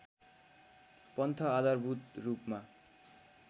पन्थ आधारभूत रूपमा